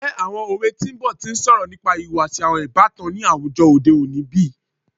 Njẹ awọn owe ti n bọ ti n sọrọ nipa ihuwasi awọn ibatan ni awujọ ode oni bi?